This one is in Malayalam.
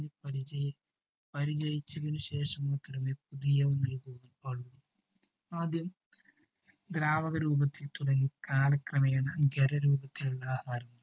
കുഞ്ഞ് പരിചയിച്ചതിനു ശേഷമേ അതിനു ശേഷമാണ് പുതിയ വിഭവം പാടു. ആദ്യം ദ്രാവക രൂപത്തിൽ തുടങ്ങി കാല ക്രമേണ ഘരരൂപത്തിലുള്ള ആഹാരം